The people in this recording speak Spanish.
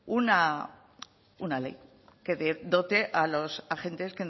una ley que dote a los agentes